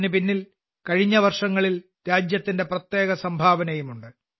ഇതിന് പിന്നിൽ കഴിഞ്ഞ വർഷങ്ങളിൽ രാജ്യത്തിന്റെ പ്രത്യേക സംഭാവനയുമുണ്ട്